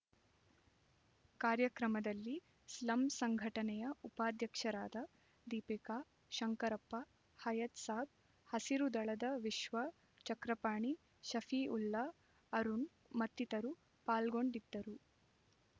ಕಾರ್ಯಕ್ರಮದಲ್ಲಿ ಸ್ಲಂ ಸಂಘಟನೆಯ ಉಪಾಧ್ಯಕ್ಷರಾದ ದೀಪಿಕಾ ಶಂಕರಪ್ಪ ಹಯತ್‍ಸಾಬ್ ಹಸಿರು ದಳದ ವಿಶ್ವ ಚಕ್ರಪಾಣಿ ಶಫೀಉಲ್ಲ ಅರುಣ್ ಮತ್ತಿತರು ಪಾಲ್ಗೊಂಡಿದ್ದರು